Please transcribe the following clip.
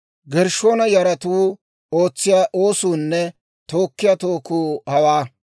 «Gershshoona yaratuu ootsiyaa oosuunne tookkiyaa tookku hawaa: